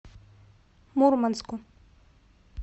мурманску